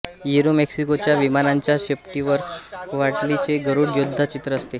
एरोमेक्सिकोच्या विमानांच्या शेपटीवर क्वाह्ट्लीचे गरुड योद्धा चित्र असते